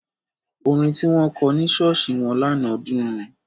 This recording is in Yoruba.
Orin tí wọ́n kọ ní ṣọ́ọ̀ṣì wọn lánàá dùn.